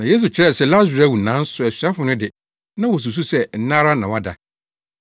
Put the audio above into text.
Na Yesu kyerɛ sɛ Lasaro awu nanso asuafo no de, na wosusuw sɛ nna ara na wada.